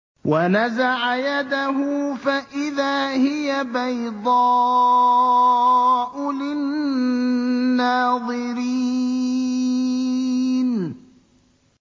وَنَزَعَ يَدَهُ فَإِذَا هِيَ بَيْضَاءُ لِلنَّاظِرِينَ